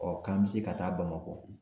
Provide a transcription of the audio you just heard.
Ɔ, k'an bɛ se ka taa Bamakɔ